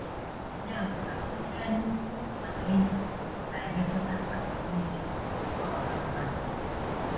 Ya bụ na oké anyaukwu maka ego na - emetụta akụkụ nile nke ọha mmadụ.